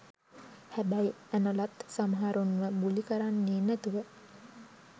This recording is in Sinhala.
හැබැයි ඇනොලත් සමහරුන්ව බුලි කරන්නේ නැතුව